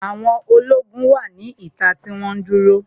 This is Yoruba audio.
Àwọn ológun wà ní ìta tí wọ́n dúró